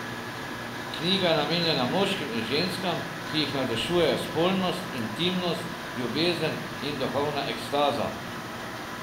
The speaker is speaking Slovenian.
Knjiga je namenjena moškim in ženskam, ki jih navdušujejo spolnost, intimnost, ljubezen in duhovna ekstaza.